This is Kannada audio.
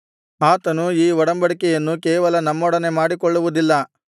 ಆತನು ಈ ಒಡಂಬಡಿಕೆಯನ್ನು ಕೇವಲ ನಮ್ಮೊಡನೆ ಮಾಡಿಕೊಳ್ಳುವುದಿಲ್ಲ